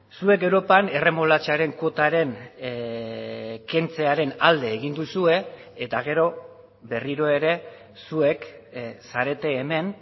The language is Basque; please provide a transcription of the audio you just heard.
zuek europan erremolatxaren kuotaren kentzearen alde egin duzue eta gero berriro ere zuek zarete hemen